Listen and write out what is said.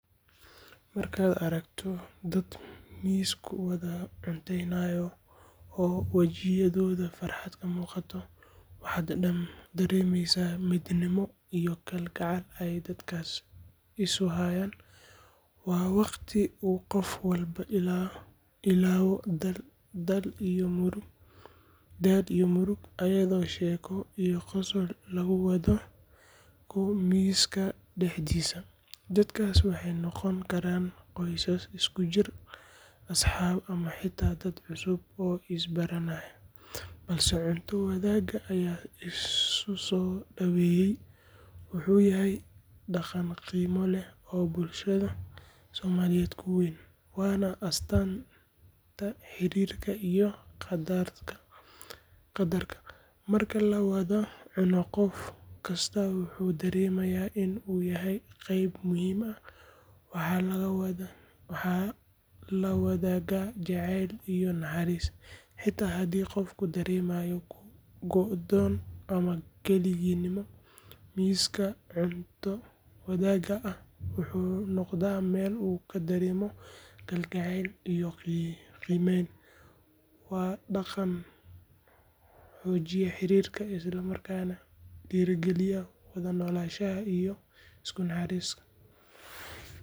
Markaad aragto dad miis ku wada cunteynaya oo wejiyadooda farxad ka muuqato, waxaad dareemaysaa midnimo iyo kalgacal ay dadkaasi isu hayaan. Waa waqti uu qof walba ilaawo daal iyo murugo, ayadoo sheeko iyo qosol lagu wadaago miiska dhexdiisa. Dadkaas waxay noqon karaan qoys isku jira, asxaab ama xitaa dad cusub oo is baranaya, balse cunto wadaag ayaa isu soo dhaweeyay. Wuxuu yahay dhaqan qiimo leh oo bulshada soomaaliyeed ku weyn, waana astaanta xiriirka iyo is qadarka. Marka la wada cuno, qof kastaa wuxuu dareemayaa in uu yahay qayb muhiim ah, waxaa la wadaagaa jacayl iyo naxariis. Xitaa haddii qofku dareemayo go’doon ama keligii-nimo, miiska cunto wadaagga ah wuxuu u noqdaa meel uu ku dareemo kalgacayl iyo qiimeyn. Waa dhaqan xoojiya xiriirka, isla markaana dhiirrigeliya wada noolaanshaha iyo isu naxariista.